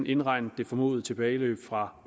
indregner det formodede tilbageløb fra